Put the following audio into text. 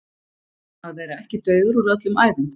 Að vera ekki dauður úr öllum æðum